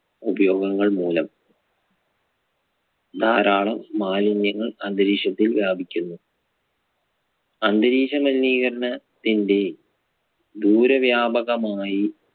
ഉപയോഗങ്ങൾ മൂലം ധാരാളം മാലിന്യങ്ങൾ അന്തരീക്ഷത്തിൽ വ്യാപിക്കുന്നു. അന്തരീക്ഷ മലിനീകരണത്തിന്റെ ദൂരവ്യാപകമായി